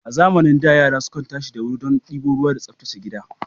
A zamanin da, yara sukan tashi da wuri don ɗiba ruwa da tsaftace gida.